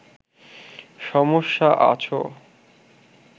সমস্যা আছ